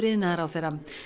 iðnaðarráðherra